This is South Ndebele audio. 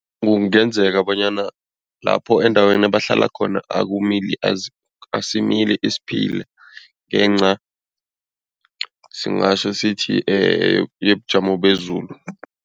Kungenzeka bonyana lapho endaweni bahlala khona, asimili isiphila ngenca singatjho sithi yobujamo bezulu.